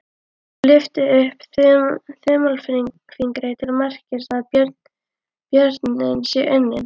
Lyftir upp þumalfingri til merkis um að björninn sé unninn.